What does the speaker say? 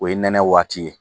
O ye nɛnɛ waati ye.